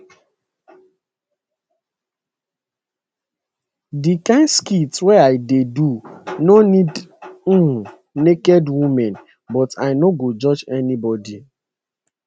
di kain skit wey i dey do no need um naked women but i no go judge anybody